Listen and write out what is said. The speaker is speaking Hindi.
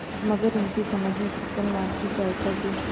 मगर उनकी समझ में छक्कनलाल की सहायता के